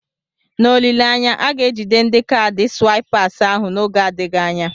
N'olileanya, a ga-ejide ndi kaadị swaịpas ahụ n'oge adịghị anya.